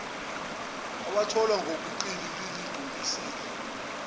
awatholwa ngobuqili nilingcolisile